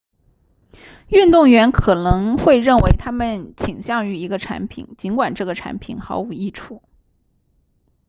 运动员可能会认为他们倾向于一个产品尽管这个产品毫无益处